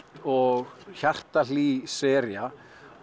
og sería